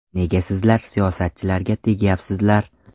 Nega sizlar siyosatchilarga tegyapsizlar?!